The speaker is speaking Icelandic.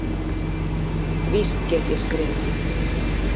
Víst get ég skrifað.